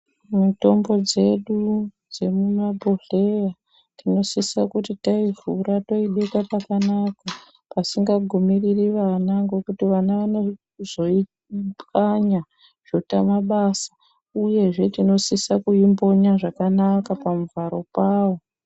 Mitombo dzedu dzemabhodhleya tinosisa kuti taivhura toibeka pakanaka, pasingagumiriri vana ngekuti vana vanozoipwanya zvotane basa uyezve tinosisa kuimbonya zvakanaka pamuvharo pawo.